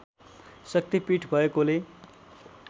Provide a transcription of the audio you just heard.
शक्ति पीठ भएकोले